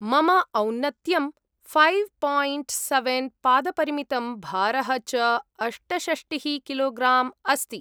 मम औन्नत्यं five point seven पादपरिमितं, भारः च अष्टषष्टिः किलोग्राम् अस्ति।